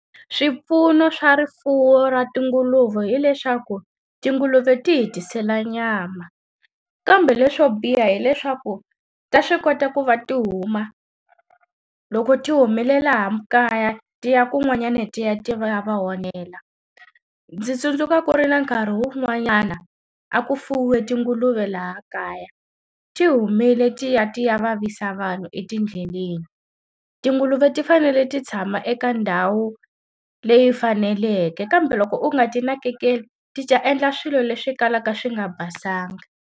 Swipfuno swa rifuwo ra tinguluve hileswaku tinguluve ti hi tisela nyama, kambe leswo biha hileswaku ta swi kota ku va ti huma, loko ti humile laha kaya ti ya kun'wanyana ti ya ti ya va onhela. Ndzi tsundzuka ku ri na nkarhi wun'wanyana, a ku fuwiwe tinguluve laha kaya. Ti humile ti ya ti ya vavisa vanhu etindleleni. Tinguluve ti fanele ti tshama eka ndhawu leyi faneleke kambe loko u nga ti nakekeli, ti ta endla swilo leswi kalaka swi nga basanga.